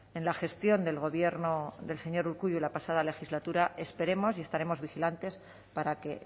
en la gestión del gobierno del señor urkullu la pasada legislatura esperemos y estaremos vigilantes para que